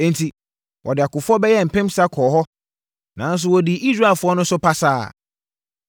Enti, wɔde akofoɔ bɛyɛ mpensa kɔɔ hɔ nanso wɔdii Israelfoɔ no so pasaa. Ai mmarima